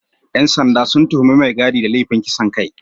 ‘Yan sanda sun tuhumi mai gadi da laifin kisan kai